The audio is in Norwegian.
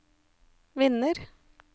vinner